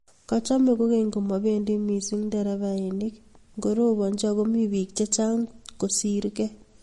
kachame kogeny komabendi missing nderefainik ngorobanji ago biik chechang kosirgei